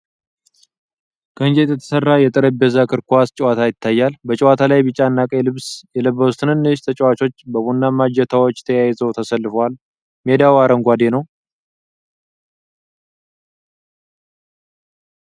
ከእንጨት የተሰራ የጠረጴዛ እግር ኳስ (ፎስቦል) ጨዋታ ይታያል። በጨዋታው ላይ ቢጫና ቀይ ልብስ የለበሱ ትንንሽ ተጫዋቾች በቡናማ እጀታዎች ተያይዘው ተሰልፈዋል። ሜዳው አረንጓዴ ነው።